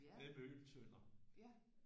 Nede i Møgeltønder